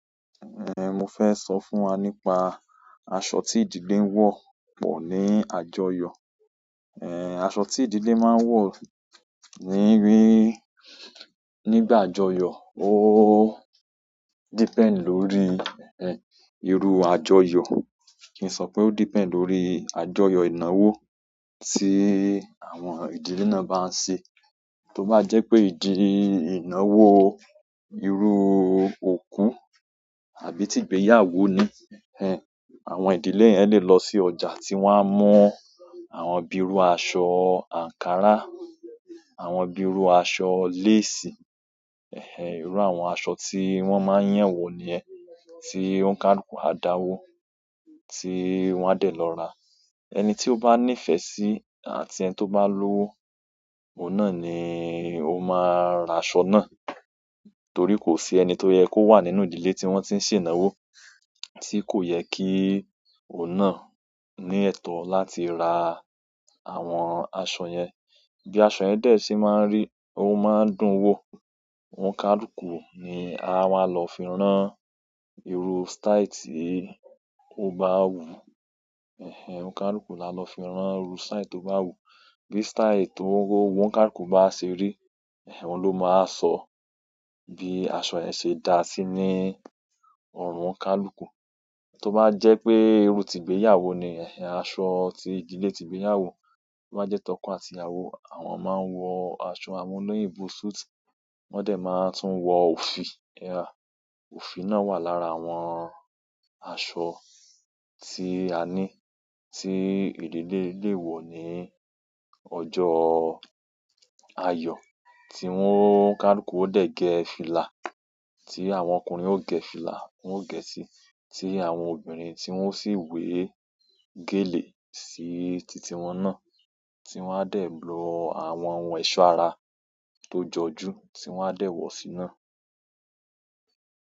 Ehn, mo fẹ́ sọ fún wa nípa aṣọ tí ìdílé ń wọ pọ̀ ní àjọyọ̀. Ehn, aṣọ tí ìdílé máa ń wọ níbí, nígbà àjọyọ̀, ó depend lórí, ehn, irú àjọyọ̀. Kì n sọ pé ó depend lórí àjọyọ̀ ìnáwó tí àwọn ìdílé náà bá ń ṣe. Tó bá jẹ́ pé ìdí, ìnáwó irú òkú àbí ti ìgbéyàwó ni, ẹhẹn, àwọn ìdílé yẹn lè lọ sí ọjà tí wọ́n á mu àwọn bíi irú aṣọ àǹkárá, àwọn bíi irú aṣọ lace, ẹhẹn, irú àwọn aṣọ tí wọ́n máa ń yan wò niyẹn, tí ọ́ n káàlukù á dáwọ́ tí wọ́n á dẹ̀ lọ rà. Ẹni tí ó bá nífẹ̀ẹ́ sí àti ẹni tó bá lówó òun náà ni ó máa ra aṣọ náà. Torí kò sí ẹni tó yẹ kó wà nínú ìdílé tí wọ́n ti ń ṣe ìnáwó tí kò yẹ kí òun náà ní ẹ̀tọ́ láti ra àwọn aṣọ yẹn. Bí aṣọ yẹn dẹ̀ sí máa ń rí, ó máa ń dún wò. Ọ́n káàlukù ni a wa lò fi rán irú style tí ó bá wù. Ẹhẹn, ọ́n káàlukù la lọ fi rán irú style tó bá wù. Bí style to wowo wọ́n káàlukù bá ṣe rí, ẹhẹn, ọun ló máa wa sọ bí aṣọ yẹn ṣe dá sí ní ọ̀rùn won káàlukù. Tó bá jẹ́ pé irú ti ìgbéyàwó niyẹn, aṣọ tí ìdílé ti ìgbéyàwó tobá jẹ́ tọko àti ìyàwó, àwọn ọmọ a wọ aṣọ amúlẹ́yìn bù súùtì. Wọ́n dẹ̀ máa tún wọ òfì. Ẹà, òfì náà wà lára àwọn aṣọ tí a ní tí ìdílé lè wọ̀ ní ọjọ́ àyọ̀. Tí wọ́n káàlukù ó dẹ̀ gẹ fílà, tí àwọn ọkùnrin ó gẹ fílà, wọ́n ó gẹ̀ si. Tí àwọn obìnrin tí wọ́n sì wé gèlè sí titi wọn náà tí wọ́n á dẹ̀ lo àwọn ohun ẹ̀ṣọ́ ara tó jọjú tí wọ́n á dẹ̀ wọ̀ sí náà.